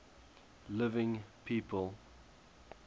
living people